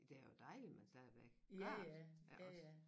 Det er jo dejligt man stadigvæk gør det da også